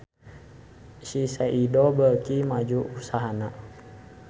Shiseido beuki maju usahana